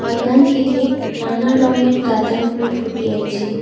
বাগানটিতে নানা রঙের গাঁদা ফুল ফুটে আছে।